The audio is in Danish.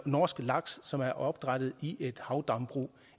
norsk laks som er opdrættet i havdambrug